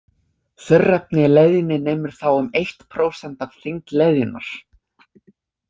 Þurrefni í leðjunni nemur þá um eitt prósent af þyngd leðjunnar.